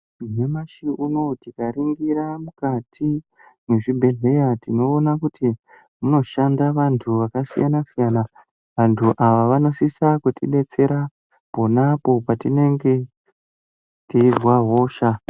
Nyamashi unouwu tikaringira mukati mwezvibhedhleya tinoona kuti munoshanda vantu vakasiyana-siyana. Vantu ava vanosisa kutidetsera ponapo patinenge teizwa hosha.